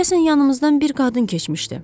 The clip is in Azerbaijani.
Deyəsən yanımızdan bir qadın keçmişdi.